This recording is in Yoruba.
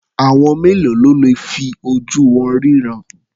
Àwọn mélòó ló le fi ojú wọn ríran?